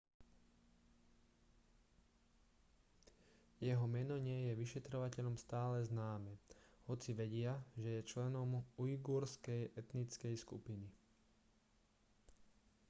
jeho meno nie je vyšetrovateľom stále známe hoci vedia že je členom ujgurskej etnickej skupiny